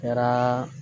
Kɛra